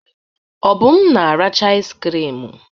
Obum na-aracha iz krim.